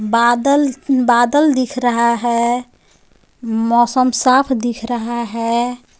बादल बादल दिख रहा है मौसम साफ दिख रहा है.